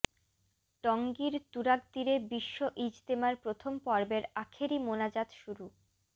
টঙ্গীর তুরাগতীরে বিশ্ব ইজতেমার প্রথম পর্বের আখেরি মোনাজাত শুরু